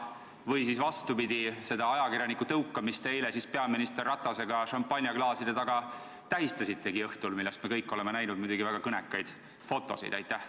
Või siis, vastupidi, seda ajakirjaniku tõukamist te eile õhtul peaminister Ratasega šampanjaklaaside taga tähistasitegi, millest me kõik oleme näinud väga kõnekaid fotosid?